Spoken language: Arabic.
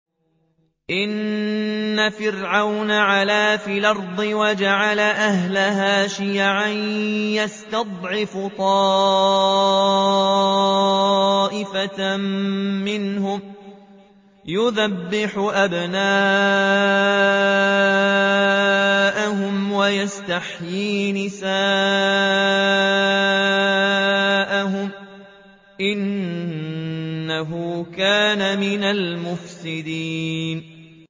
إِنَّ فِرْعَوْنَ عَلَا فِي الْأَرْضِ وَجَعَلَ أَهْلَهَا شِيَعًا يَسْتَضْعِفُ طَائِفَةً مِّنْهُمْ يُذَبِّحُ أَبْنَاءَهُمْ وَيَسْتَحْيِي نِسَاءَهُمْ ۚ إِنَّهُ كَانَ مِنَ الْمُفْسِدِينَ